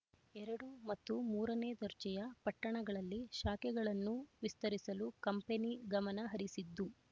ಎರಡು ಮತ್ತು ಮೂರನೇ ದರ್ಜೆಯ ಪಟ್ಟಣಗಳಲ್ಲಿ ಶಾಖೆಗಳನ್ನು ವಿಸ್ತರಿಸಲು ಕಂಪನಿ ಗಮನ ಹರಿಸಿದ್ದು